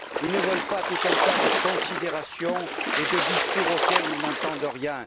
Ils ne veulent pas tout un tas de considérations et de discours auxquels ils n'entendent rien!